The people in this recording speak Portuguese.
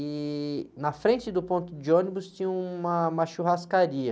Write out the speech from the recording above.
E na frente do ponto de ônibus tinha uma, uma churrascaria.